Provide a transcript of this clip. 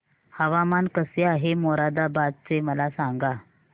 हवामान कसे आहे मोरादाबाद चे मला सांगा